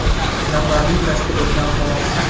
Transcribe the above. nafarni tashkil etgan, xolos.